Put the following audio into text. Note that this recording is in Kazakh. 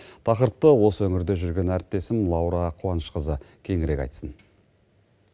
тақырыпты осы өңірде жүрген әріптесім лаура қуанышқызы кеңірек айтсын